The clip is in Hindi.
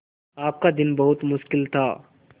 आपका दिन बहुत मुश्किल था